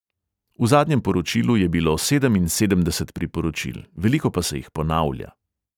V zadnjem poročilu je bilo sedeminsedemdeset priporočil, veliko pa se jih ponavlja.